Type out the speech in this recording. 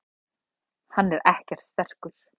Hann er ekkert sterkur.